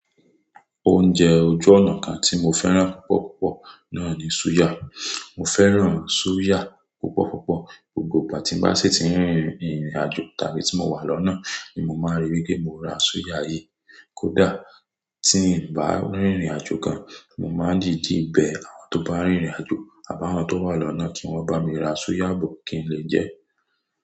Oúnjẹ ojú ọ̀nà kan tí mo fẹ́ràn púpọ̀ púpọ̀ náà ni suya. Mo fẹ́ràn suya púpọ̀ púpọ̀. Gbogbo ìgbà tí n bá sì tí ń rìnrìn àjò, tàbí tí mo wà lọ́nà ni mo máa rí wipe mo ra suya yí. Kódà tí ń bá rìnrìn àjò gan, mo máa n dìdí bẹ àwọn tó bá ń rìnrìn àjò àbáwọn tó wà lọ́nà kí wọ́n bá mi ra suya bó kí n lè jẹ ẹ́.